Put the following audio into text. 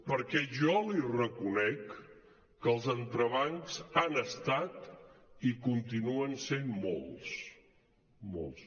perquè jo li reconec que els entrebancs han estat i continuen sent molts molts